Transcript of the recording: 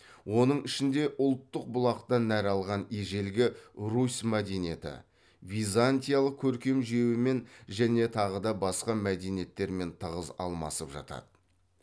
оның ішінде ұлттық бұлақтан нәр алған ежелгі русь мәдениеті византиялық көркем жүйемен және тағы да басқа мәдениеттермен тығыз алмасып жатады